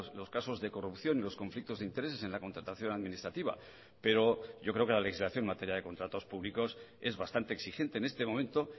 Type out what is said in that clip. los casos de corrupción y los conflictos de intereses en la contratación administrativa pero yo creo que la legislación en materia de contratos públicos es bastante exigente en este momento